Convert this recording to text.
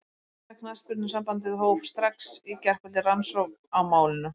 Enska knattspyrnusambandið hóf strax í gærkvöldi rannsókn á málinu.